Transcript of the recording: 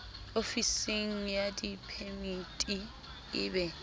ofisng ya diphemiti e be